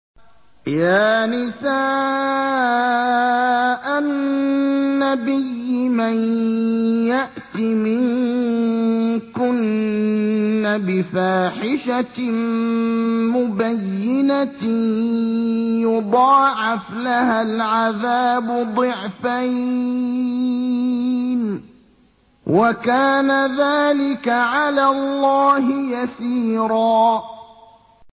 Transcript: يَا نِسَاءَ النَّبِيِّ مَن يَأْتِ مِنكُنَّ بِفَاحِشَةٍ مُّبَيِّنَةٍ يُضَاعَفْ لَهَا الْعَذَابُ ضِعْفَيْنِ ۚ وَكَانَ ذَٰلِكَ عَلَى اللَّهِ يَسِيرًا